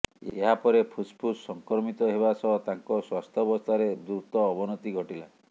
ଏହାପରେ ଫୁସ୍ଫୁସ୍ ସଂକ୍ରମିତ ହେବା ସହ ତାଙ୍କ ସ୍ୱାସ୍ଥ୍ୟାବସ୍ଥାରେ ଦ୍ରୁତ ଅବନତି ଘଟିଲା